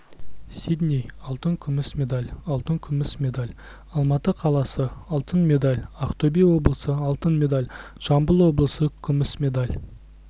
сидней алтын күміс медаль алтын күміс медаль алматы қаласы алтын медаль ақтөбе облысы алтын медаль жамбыл облысы күміс медаль